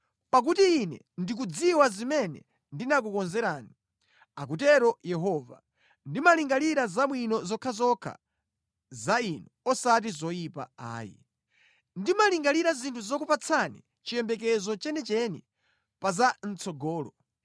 Pakuti Ine ndikudziwa zimene ndinakukonzerani,” akutero Yehova, “ndimalingalira zabwino zokhazokha za inu osati zoyipa, ayi. Ndimalingalira zinthu zokupatsani chiyembekezo chenicheni pa za mʼtsogolo.